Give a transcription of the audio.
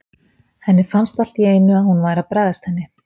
Henni fannst allt í einu að hún væri að bregðast henni.